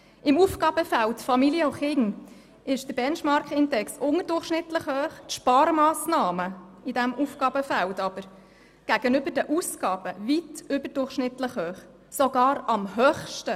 Im Aufgabenfeld «Familien und Kinder» ist der Benchmarkindex unterdurchschnittlich hoch, die Sparmassnahmen in diesem Aufgabenfeld liegen jedoch gegenüber den Ausgaben weit über dem Durchschnitt, mit 15,9 Prozent sogar am höchsten.